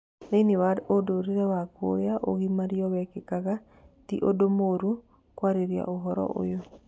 Thĩini wa ũndũre wa kũrĩa ũgimario wekekaga ti ũndũ mũru kũarĩrĩa ũhoro ũyũ